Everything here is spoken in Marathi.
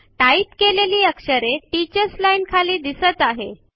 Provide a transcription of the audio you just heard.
टाइपकेलेली अक्षरे टीचर्स लाईन च्या खाली दिसत आहे